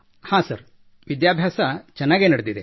ಹಾಂ ಸರ್ ವಿದ್ಯಾಭ್ಯಾಸ ಚೆನ್ನಾಗಿ ನಡೆದಿದೆ